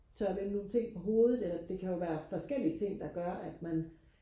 tør vende nogle ting på hovedet eller det kan jo forskellige ting der gør at man